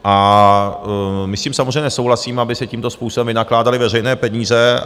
A my s tím samozřejmě nesouhlasíme, aby se tímto způsobem vynakládaly veřejné peníze.